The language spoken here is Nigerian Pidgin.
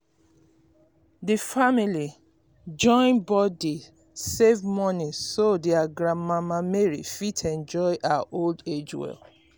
d family join body save moni um so their grand mama mary fit enjoy her um old age well